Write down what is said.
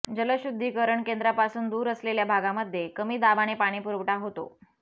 जलशुद्धीकरण केंद्रापासून दूर असलेल्या भागामध्ये कमी दाबाने पाणीपुरवठा होतो